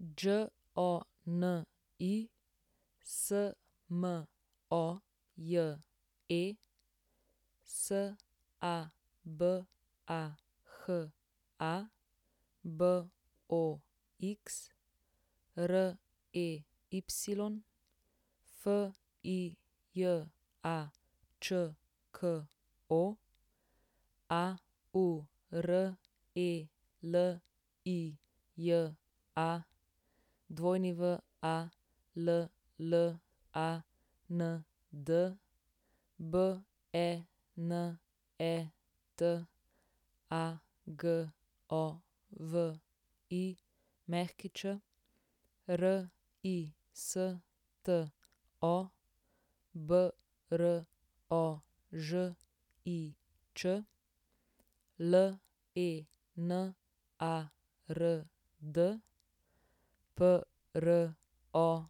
Đoni Smoje, Sabaha Box, Rey Fijačko, Aurelija Walland, Benet Agović, Risto Brožič, Lenard Prokop,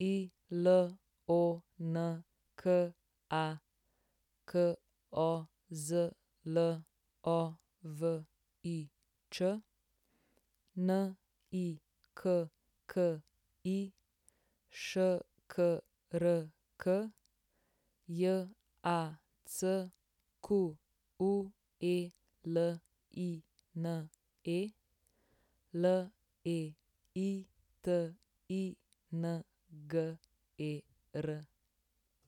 Ilonka Kozlovič, Nikki Škrk, Jacqueline Leitinger.